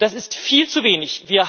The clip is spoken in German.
Das ist viel zu wenig.